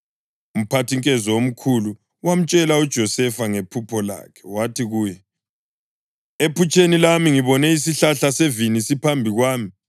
Umphathinkezo omkhulu wamtshela uJosefa ngephupho lakhe. Wathi kuye, “Ephutsheni lami ngibone isihlahla sevini siphambi kwami,